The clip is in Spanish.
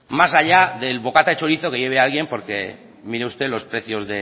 más allá del bocata de chorizo que lleve alguien porque mire usted los precios